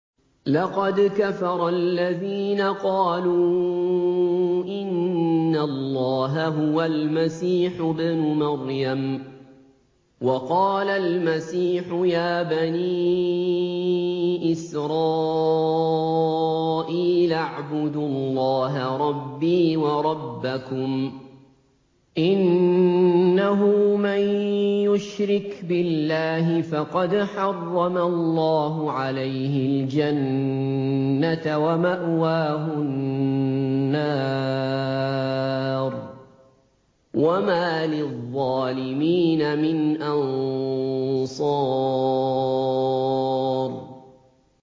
لَقَدْ كَفَرَ الَّذِينَ قَالُوا إِنَّ اللَّهَ هُوَ الْمَسِيحُ ابْنُ مَرْيَمَ ۖ وَقَالَ الْمَسِيحُ يَا بَنِي إِسْرَائِيلَ اعْبُدُوا اللَّهَ رَبِّي وَرَبَّكُمْ ۖ إِنَّهُ مَن يُشْرِكْ بِاللَّهِ فَقَدْ حَرَّمَ اللَّهُ عَلَيْهِ الْجَنَّةَ وَمَأْوَاهُ النَّارُ ۖ وَمَا لِلظَّالِمِينَ مِنْ أَنصَارٍ